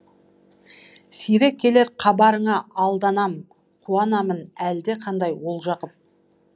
сирек келер хабарыңа алданам қуанамын әлдеқандай олжа қып